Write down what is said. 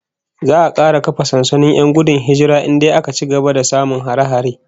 Za'a kara kafa sansanonin 'yan gudun hijira in dai aka ci gaba da samun hare-hare